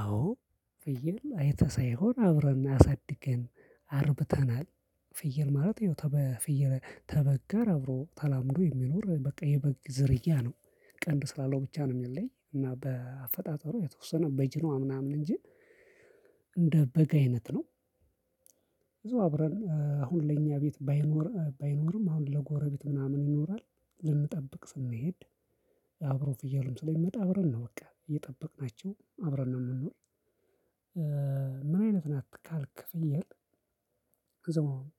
አዎ ፍየል አይተህ ሳይሆን አብረን አሳድገን አርብተናል። ፍየል ማለት ይኸው ተበ ተበግ ጋር አብሮ ተላምዶ የሚኖር በቃ የበግ ዝርያ ነው። ቀንድ ስላለው ብቻ ነው የሚለይ እና በአፈጣጠሩ የተወሰነ በጅኖ ምናምን እንጂ እንደ በግ አይነት ነው። እዛው አብረን አሁን ለኛ ቤት ባይኖርም ባይኖርም አሁን ለጎረቤት ምናምን ይኖራል። ልንጠብቅ ስንሄድ አብሮ ፍያሉም ስለሚመጣ አብረን ነው በቃ እየጠበቅናቸው አብረን ነው የምንውል። ምን አይነት ናት ካልክ ፍየል?